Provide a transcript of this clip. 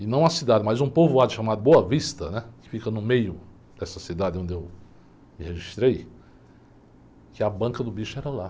e não a cidade, mas um povoado chamado, que fica no meio dessa cidade onde eu me registrei, que a banca do bicho era lá.